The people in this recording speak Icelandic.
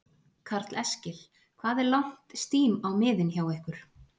Karl Eskil: Hvað er langt stím á miðin hjá ykkur?